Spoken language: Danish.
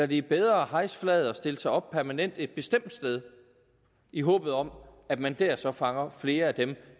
det er bedre at hejse flaget og stille sig op permanent et bestemt sted i håbet om at man dér så fanger flere af dem